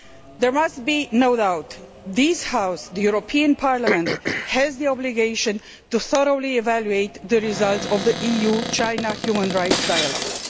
There must be no doubt. This House, the European Parliament, has the obligation to thoroughly evaluate the results of the EU China human rights dialogue.